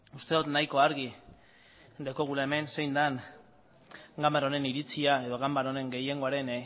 uste dut nahiko argi daukagula hemen zein den ganbara honen iritzia edo ganbara honen gehiengoaren